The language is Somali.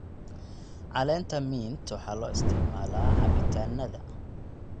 Caleenta mint waxaa loo isticmaalaa cabitaannada.